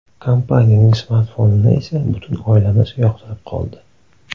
Kompaniyaning smartfonini esa butun oilamiz yoqtirib qoldi.